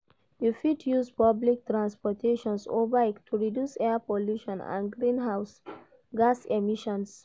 You fit use public transportation or bike to reduce air pollution and greenhouse gas emissions.